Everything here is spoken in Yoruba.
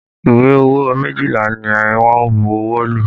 Ìwé owó méjìlá ni wọ́n bu ọwọ́ lù